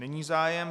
Není zájem.